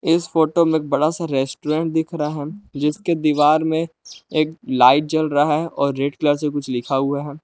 इस फोटो में एक बड़ा सा रेस्टोरेंट दिख रहा है। जिसके दीवार में एक लाइट जल रहा है। और रेड कलर से कुछ लिखा हुआ है।